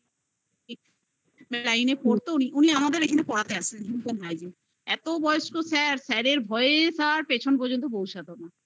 লাইনে পরত উনি আমাদের এখানে পরাতে আসতেন health & Hygiene এত বয়স্ক sir sir এর ভয়ে sir পেছন পর্যন্ত পৌছাত ন